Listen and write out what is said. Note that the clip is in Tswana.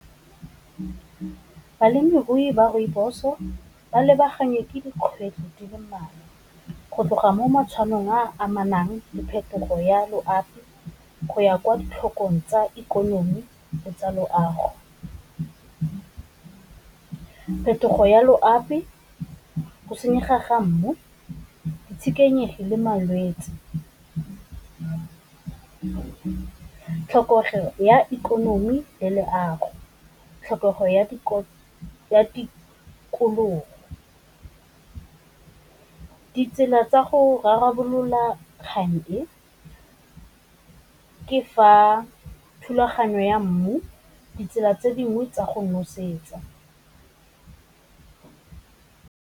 Balemirui ba rooibos-o ba lebagane ke dikgwedi di le mmalwa go tloga mo matshwanong a amanang diphetogo ya loapi, go ya kwa ditlhokong tsa ikonomi le tsa loago. Phetogo ya loapi, go senyega mmu, ditshenekegi le malwetsi, tlhokego ya ikonomi le leago, tlhokego ya tikologo. Ditsela tsa go rarabolola kgang, e ke fa thulaganyo ya mmu, ditsela tse dingwe tsa go nosetsa.